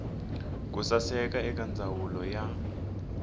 ku suka eka ndzawulo ya